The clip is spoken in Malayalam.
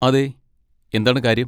അതെ, എന്താണ് കാര്യം?